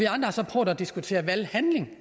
har så prøvet at diskutere valghandling